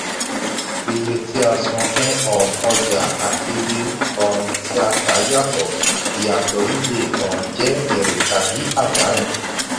iye tí a san fún um ọjà àti iye um tí a tà á yàtọ̀; ìyàtò yìí le um jẹ èrè tàbí àdánù.